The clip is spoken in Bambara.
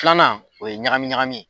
Filanan o ye ɲagami ɲagami ye